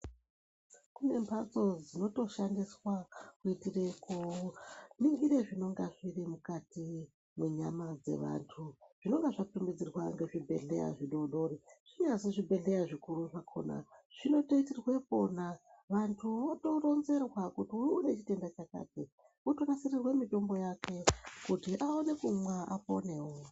Kune mhatso dzinotoshandiswa kuitire koningira zvinenga zviri mukati mwenyama dzevantu. Zvinenge zvatumidzirwa ngezvibhedhleya zvidodori zvinyazi zvibhedhleya zvikuru zvakona zvinotoitirwe pona. Vantu votoonzerwa kuti unechitenda chakati votonasirirwe mitombo yake kuti aone kumwa aponevo.